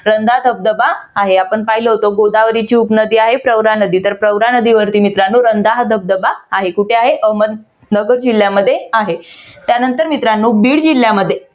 रंधा धबधबा आहे आपण पाहिलं होत गोदावरीची उपनदी नदी आहे प्रवरा नदी तर प्रवरा नदीवरती मित्रानो हा रंधा धबधबा कुठे आहे अहमदनगर जिल्ह्यामध्ये आहे. त्यानंतर मित्रानो बीड जिल्ह्यामध्ये